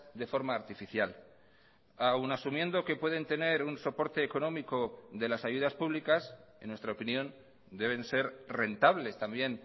de forma artificial aun asumiendo que pueden tener un soporte económico de las ayudas públicas en nuestra opinión deben ser rentables también